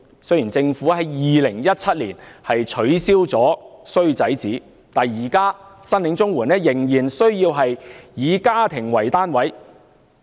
雖然政府在2017年取消了"衰仔紙"，但現時申領綜援仍須以家庭為單位。